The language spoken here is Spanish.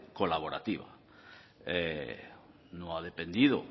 colaborativa no ha dependido